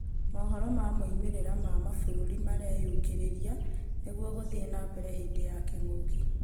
Mohoro ma moimĩrĩra ma mabũrũri mareyũkĩrĩria nĩguo gũthiĩ nambere hĩndĩ ya kĩng'ũki.